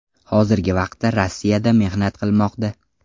Hozirgi vaqtda Rossiyada mehnat qilmoqda.